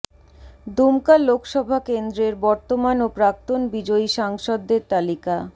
দুমকা লোকসভা কেন্দ্রের বর্তমান ও প্রাক্তন বিজয়ী সাংসদদের তালিকা